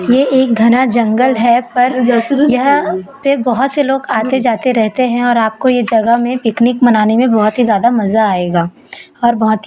ये एक घना जंगल है पर यह पे बहुत से लोग आते जाते रहते हैं और आपको यह जगह में पिकनिक मनाने में बहुत ही ज्यादा मजा आएगा और बहुत ही--